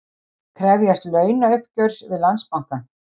Krefjast launauppgjörs við Landsbankann